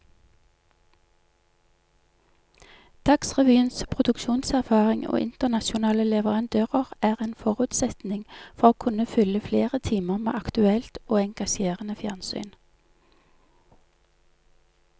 Dagsrevyens produksjonserfaring og internasjonale leverandører er en forutsetning for å kunne fylle flere timer med aktuelt og engasjerende fjernsyn.